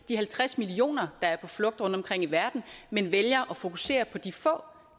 de halvtreds millioner der er på flugt rundtomkring i verden man vælger at fokusere på de få